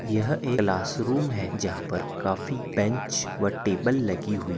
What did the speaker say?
यह एक classroom है जहा पर काफी बेच व टेबल लगी हुई --